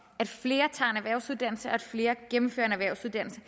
at flere tager en erhvervsuddannelse og at flere gennemfører en erhvervsuddannelse